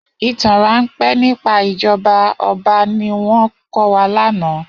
Itàn rànpé nipá ijòbá òbá niwòn kòwá làná